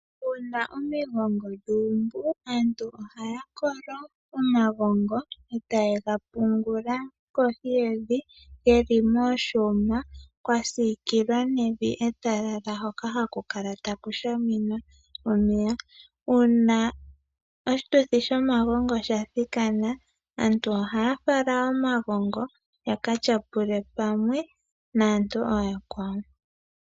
Uuna omigongo dha umbu, aantu ohaya kolo omagongo e ta ye ga pungula kohi yevi ge li miiyuma kwa sikilwa nevi etalala hoka ha ku kala ta ku shaminwa omeya. Uuna oshituthi shomagongo sha thikana aantu oha ya fala omagongo ya ka tyapule pamwe naantu ooyakwawo.